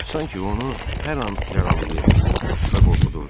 Sanki onu hər an yaralayır və qorxudurdular.